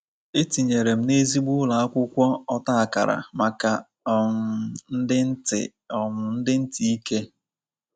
E tinyere m n’ezigbo ụlọ akwụkwọ ọta akara maka um ndị ntị um ndị ntị ike.